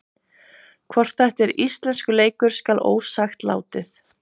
Hvort þetta er íslenskur leikur skal ósagt látið.